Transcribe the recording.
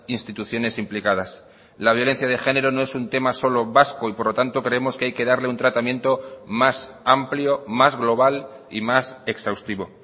instituciones implicadas la violencia de género no es un tema solo vasco y por lo tanto creemos que hay que darle un tratamiento más amplio más global y más exhaustivo